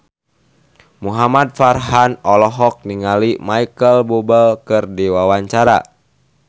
Muhamad Farhan olohok ningali Micheal Bubble keur diwawancara